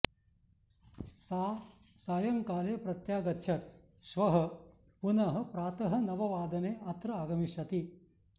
सा सायंकाले प्रत्यागच्छत् श्वः पुनः प्रातः नववादने अत्र आगमिष्यति